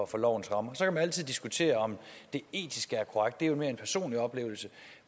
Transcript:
for lovens rammer så kan man altid diskutere om det er etisk korrekt det er mere en personlig oplevelse